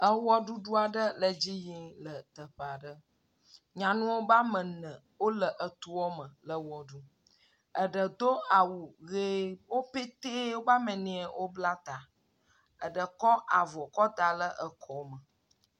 Ewɔɖuɖu aɖe le edzi yim le teƒe aɖe nyanuawo ƒe ame ene wole etoa me le wɔ ɖum. Eɖe do awu ʋie. Wo petɛ woƒe ame ene wobla ta. Eɖe kɔ avɔ kɔ da ɖe ekɔme.